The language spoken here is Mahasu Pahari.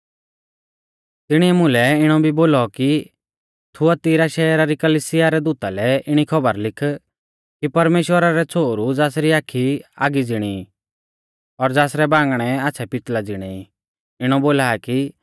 तिणीऐ मुलै इणौ भी बोलौ कि थुआतीरा शैहरा री कलिसिया रै दूता लै इणी खौबर लिख कि परमेश्‍वरा रौ छ़ोहरु ज़ासरी आखी आगी ज़िणी ई और ज़ासरै बांगणै आच़्छ़ै पितल़ा ज़िणै ई इणौ बोला आ कि